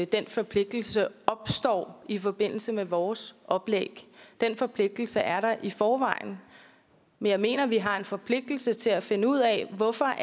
den forpligtelse opstår i forbindelse med vores oplæg den forpligtelse er der i forvejen men jeg mener at vi sammen har en forpligtelse til at finde ud af hvorfor